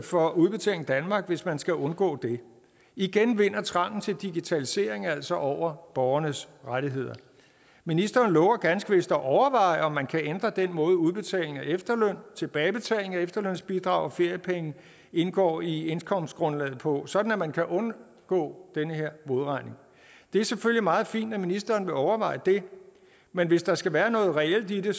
for udbetaling danmark hvis man skal undgå det igen vinder trangen til digitalisering altså over borgernes rettigheder ministeren lover ganske vist at overveje om man kan ændre den måde udbetaling af efterløn tilbagebetaling af efterlønsbidrag og feriepenge indgår i indkomstgrundlaget på sådan at man kan undgå den her modregning det er selvfølgelig meget fint at ministeren vil overveje det men hvis der skal være noget reelt i det